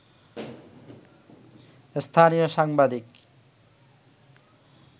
স্থানীয় সাংবাদিক